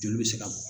Joli bɛ se ka bɔ